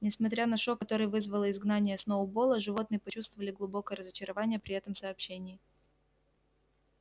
несмотря на шок который вызвало изгнание сноуболла животные почувствовали глубокое разочарование при этом сообщении